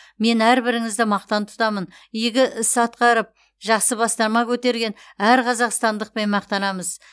мен әрбіріңізді мақтан тұтамын игі іс атқарып жақсы бастама көтерген әр қазақстандықпен мақтанамыз